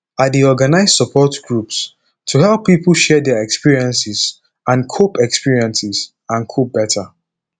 i dey organize support groups to help pipo share their experiences and cope experiences and cope beta